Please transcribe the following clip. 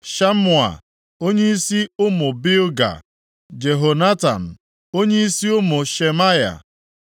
Shamua, onyeisi ụmụ Bilga, Jehonatan, onyeisi ụmụ Shemaya;